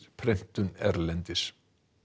prentun erlendis